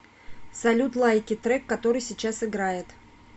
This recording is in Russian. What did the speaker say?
салют лайки трек который сейчас играет